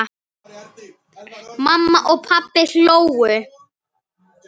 Mamma og pabbi hlógu.